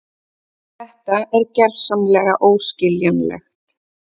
Þetta er gersamlega óskiljanlegt.